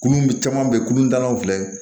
Kunun caman bɛ kulu talaw filɛ